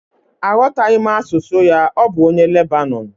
Aghọtaghị m asụsụ ya, ọ bụ onye Lebanọn